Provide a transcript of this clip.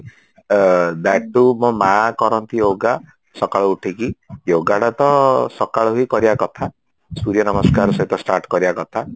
that to ମୋ ମା କରନ୍ତି yoga ସକାଳୁ ଉଠିକି yogaଟା ତ ସକାଳୁ ବି କରିବା କଥା ସୁରୀୟ ନମସ୍କାର ସହିତ start କରିବା କଥା